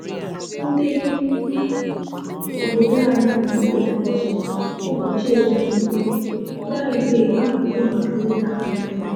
Ndi obodo anyị nwere ụbochị ụbochị ezumike, fraịdee abụghị maka ịta nri